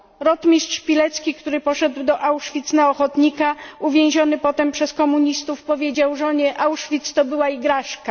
Rotmistrz Pilecki, który poszedł do Auschwitz na ochotnika, uwięziony potem przez komunistów powiedział żonie Auschwitz to była igraszka.